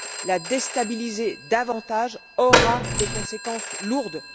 La déstabiliser davantage aura des conséquences lourdes.